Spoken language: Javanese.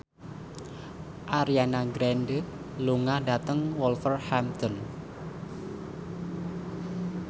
Ariana Grande lunga dhateng Wolverhampton